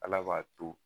Ala b'a to